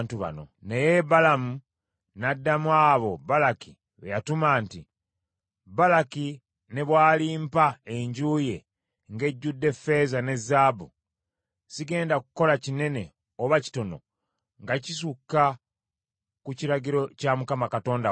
Naye Balamu n’addamu abo Balaki be yatuma nti, “Balaki ne bw’alimpa enju ye ng’ejjudde ffeeza ne zaabu sigenda kukola kinene oba kitono nga kisukka ku kiragiro kya Mukama Katonda wange.